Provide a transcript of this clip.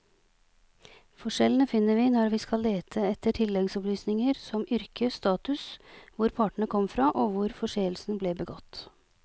Forskjellene finner vi når vi skal lete etter tilleggsopplysninger som yrke, status, hvor partene kom fra og hvor forseelsen ble begått.